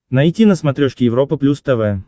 найти на смотрешке европа плюс тв